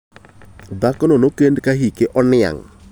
Dhakono nokend ka hike oniang'.